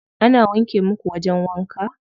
Ana wanke muku wajen wanka?